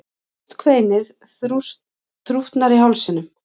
Hást kveinið þrútnar í hálsinum.